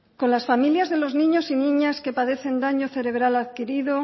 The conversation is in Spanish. con las familias de los niños y niñas que padecen daño cerebral adquirido